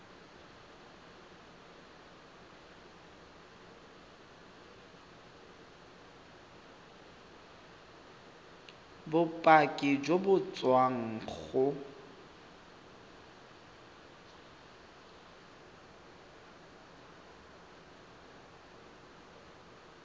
bopaki jo bo tswang go